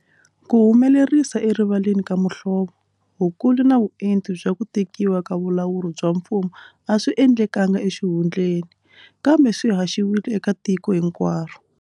Ku humelerisa erivaleni ka muhlovo, vukulu na vuenti bya ku tekiwa ka vulawuri bya mfumo a swi endlekanga exihundleni, kambe swi haxiwile eka tiko hinkwaro.